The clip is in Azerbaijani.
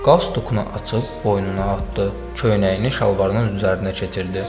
Qaz tookunu açıb boynuna atdı, köynəyini şalvarının üzərinə keçirdi.